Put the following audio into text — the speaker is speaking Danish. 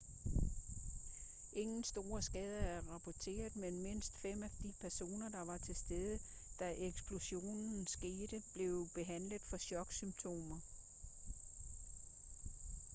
ingen store skader er rapporteret men mindst fem af de personer der var til stede da eksplosionen skete blev behandlet for choksymptomer